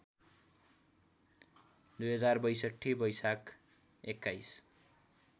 २०६२ वैशाख २१